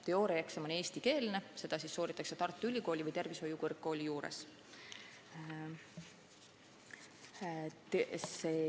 Teooriaeksam on eestikeelne, see sooritatakse Tartu Ülikooli või tervishoiukõrgkooli juures.